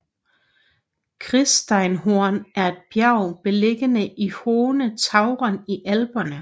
Kitzsteinhorn er et bjerg beliggende i Hohe Tauern i Alperne